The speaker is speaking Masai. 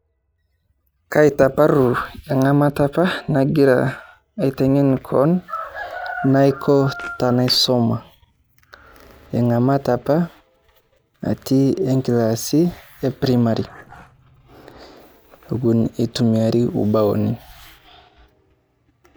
Kaitaparru eng'amata apa agira aiteng'en kewon enaiko tenaisoma. Eng'amata apa eton atii inkilasini e primary eton eitumiari ubaoni.